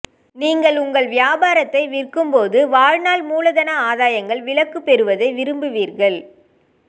நீங்கள் உங்கள் வியாபாரத்தை விற்கும்போது வாழ்நாள் மூலதன ஆதாயங்கள் விலக்கு பெறுவதை விரும்புவீர்கள்